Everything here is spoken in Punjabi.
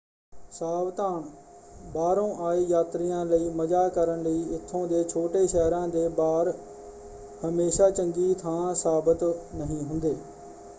ਸਾਵਧਾਨ: ਬਾਹਰੋਂ ਆਏ ਯਾਤਰੀਆਂ ਲਈ ਮਜ਼ਾ ਕਰਨ ਲਈ ਇੱਥੋਂ ਦੇ ਛੋਟੇ-ਸ਼ਹਿਰਾਂ ਦੇ ਬਾਰ ਹਮੇਸ਼ਾਂ ਚੰਗੀ ਥਾਂ ਸਾਬਤ ਨਹੀਂ ਹੁੰਦੇ।